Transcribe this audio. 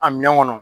A minɛn kɔnɔ